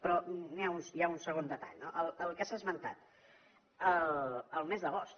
però hi ha un segon detall no el que s’ha esmentat el mes d’agost